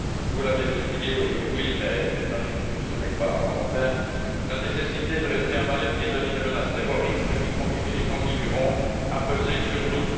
vous l'avez oublié aujourd'hui mais j'imagine que ce n'est pas volontaire, la nécessité de rester en alerte vis à vis des menaces terroristes qui continuent et continueront à peser sur nous.